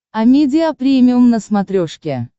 амедиа премиум на смотрешке